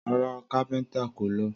Rara, Kápéntà kò ló